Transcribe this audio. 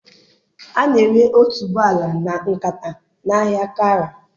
A na-ere otuboala na nkata na ahịa Kara.